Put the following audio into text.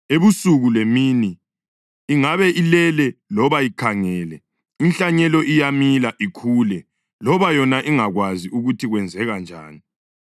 Ebusuku lemini ingabe ilele loba ikhangele inhlanyelo iyamila ikhule loba yona ingakwazi ukuthi kwenzeka njani.